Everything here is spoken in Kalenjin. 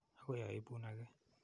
Akoi aipun ake.